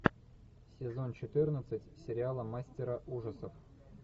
сезон четырнадцать сериала мастера ужасов